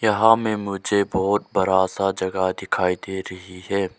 यहां में मुझे बहोत बड़ा सा जगह दिखाई दे रही है।